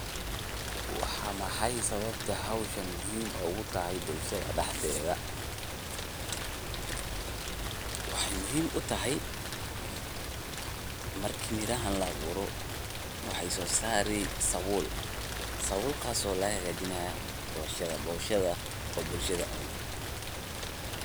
Waxay muhim utahay marki mirahan laaburo waxay sosari sabul, sabulkaso lagahajinayo boshada, boshadana bulshada cuni.